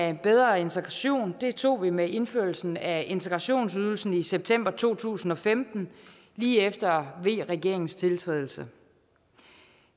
af bedre integration tog vi med indførelsen af integrationsydelsen i september to tusind og femten lige efter v regeringens tiltrædelse